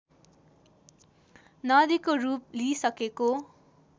नदीको रूप लिइसकेको